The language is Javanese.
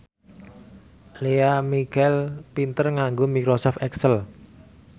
Lea Michele pinter nganggo microsoft excel